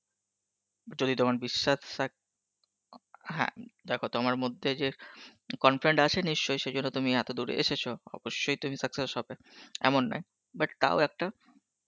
যদি তোমার বিস্সাত~ সাক~ অং হ্যাঁ দেখো তোমার মধ্যে যে confident আছে নিশ্চই সে জন্য তুমি এতদূর এসেছো অবশ্যই তুমি success হবে এমন নয় but তাও একটা